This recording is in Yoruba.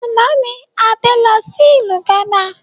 Àná ni Adé lọ sí ìlú gánà